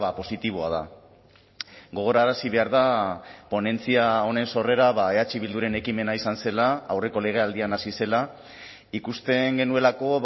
positiboa da gogorarazi behar da ponentzia honen sorrera eh bilduren ekimena izan zela aurreko legealdian hasi zela ikusten genuelako